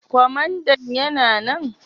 Kwamandan yana nan?